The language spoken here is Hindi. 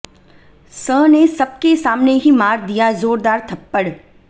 स ने सबके सामने ही मार दिया जोरदार थप्पड़